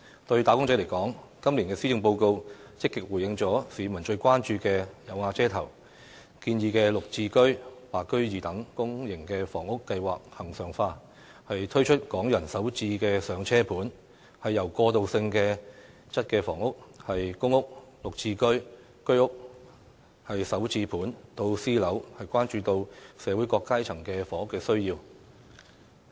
對"打工仔"來說，今年的施政報告積極回應了市民最關注的"有瓦遮頭"，建議"綠置居"、"白居二"等公營房屋計劃恆常化，推出"港人首置上車盤"，由過渡性質房屋、公屋、"綠置居"、居屋、"首置盤"到私樓，關顧到社會各階層的住屋需要。